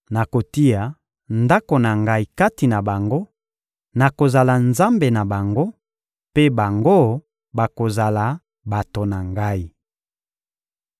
Nakotia ndako na Ngai kati na bango; nakozala Nzambe na bango, mpe bango, bakozala bato na Ngai.